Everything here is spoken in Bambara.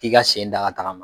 i ka sen da ka tagama.